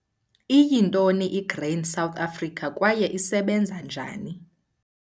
Iyintoni iGrain South Africa kwaye isebenza njani?